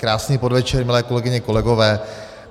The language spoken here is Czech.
Krásný podvečer milé kolegyně, kolegové.